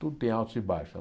Tudo tem altos e baixos.